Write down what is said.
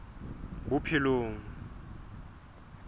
bophelong